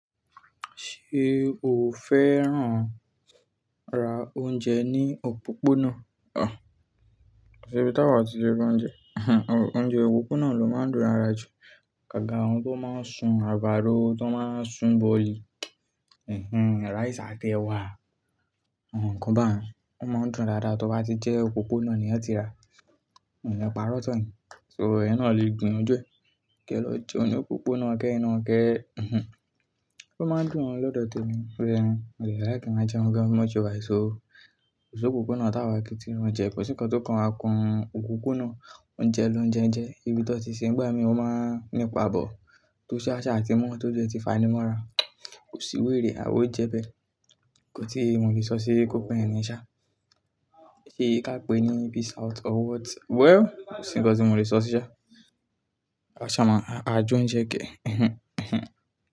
Ṣé o fẹ́ràn ra oúnjẹ ní òpópónà? Ko sibi tá wà o tí le ra oúnjẹ ehn. Oúnjẹ òpópónà ló máa ń dùn lára jù, agágá àwọn tó máa ń sun àgbàdo, tó máa ń sun bọ̀lì, ehen, rice àti ẹ̀wà. Àwọn kan báhun, ó máa ń dùn dáadáa, tó bá ti jẹ òpópónà ni wọ́n ti rà, òun ni pàrọ̀ tán yin. So, eyin náà lè gbìyànjú e, kí ẹ lọ jẹun ní òpópónà ke yin náà ke, ehn. Ó máa ń dùn o lọ́dọ̀ tèmi, shoye yin? Mo dẹ like kí n máa jẹun gan bí mo ṣe wa yìí so. Kosopopona tá wà o kí ti ra oúnjẹ, kò sí ǹkan tó kan wa kàn òpópónà, oúnjẹ loúnjẹ n je, ìbí tón ti ṣe ń gba mi, ó máa ń nípa but, tó sáṣá ti mọ́ tó jù ẹ ti fanímọ́ra. Kò sí wè rè, àwó jẹ bẹ́ẹ̀. Kò tíì mo lè sọ sí i kó pé ẹni ṣá. Ṣé kí a pè é ní peace out or what? Well, kò sí ǹkan tí mo lè sọ sí ṣá. Aṣa máa ń àájò ń jẹ́ gẹ. Ehen, ehen.